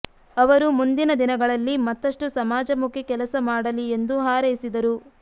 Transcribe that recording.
ಅವರು ಮುಂದಿನ ದಿನಗಳಲ್ಲಿ ಮತ್ತಷ್ಟು ಸಮಾಜಮುಖಿ ಕೆಲಸ ಮಾಡಲಿ ಎಂದು ಹಾರೈಸಿದರು